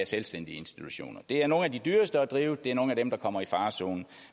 selvstændige institutioner det er nogle af de dyreste at drive og det er nogle af dem der kommer i farezonen